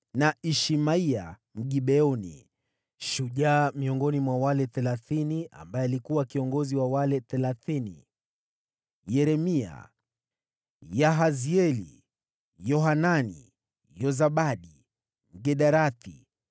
na Ishmaya Mgibeoni, shujaa miongoni mwa wale Thelathini, ambaye alikuwa kiongozi wa wale Thelathini; Yeremia, Yahazieli, Yohanani, Yozabadi, Mgederathi,